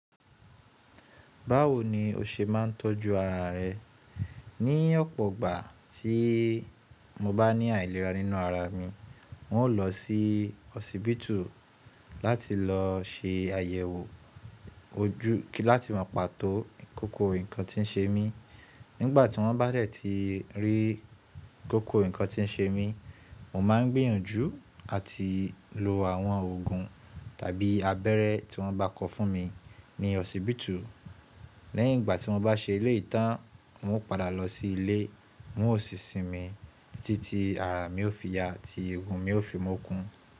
Báwo ni o ṣe máa ń tọ́jú ara rẹ? Ní ọ̀pọ̀ ìgbà tí mo bá ní àìlera nínú ara mi, n óò lọ sí hosibitu láti lọ ṣe àyẹ̀wò ojú kí láti máa pàtó kókó nǹkan tí ń ṣe mí. Nígbà tí wọ́n bá rẹ̀ ti rí kókó nǹkan tí ń ṣe mí, mo máa ń gbìyànjú àti lo àwọn òògùn tàbí abẹ́rẹ́ tí wọ́n bá kọ fún mi ní hosibitu. Lẹ́yìn ìgbà tí mo bá ṣe ilé ìtán, n óò padà lọ sí ilé, n óò sì sinmi títí ara mi ó fi ya àti egun mi ó fi mú kun.